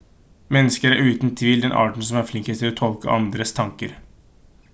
mennesker er uten tvil den arten som er flinkest til å tolke andres tanker